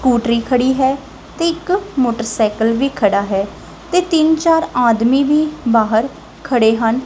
ਸਕੂਟਰੀ ਖੜੀ ਹੈ ਤੇ ਇੱਕ ਮੋਟਰਸਾਈਕਲ ਵੀ ਖੜਾ ਹੈ ਤੇ ਤਿੰਨ ਚਾਰ ਆਦਮੀ ਵੀ ਬਾਹਰ ਖੜੇ ਹਨ।